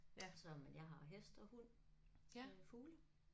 Så men jeg har hest og hund øh fugle